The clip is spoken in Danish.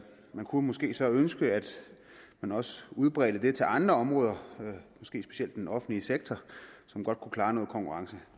kunne måske så ønske at man også udbredte det til andre områder måske specielt den offentlige sektor som godt kunne klare noget konkurrence